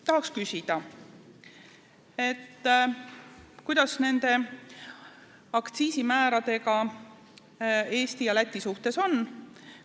Tahaks küsida, kuidas nende aktsiisimääradega Eesti ja Läti suhtes on.